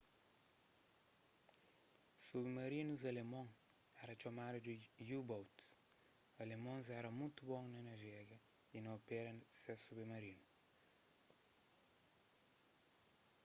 submarinus alemon éra txomadu di u-boats alemons éra mutu bon na navega y na opera ses submarinus